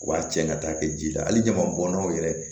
U b'a cɛ ka taa kɛ ji la hali ɲama bɔnnaw yɛrɛ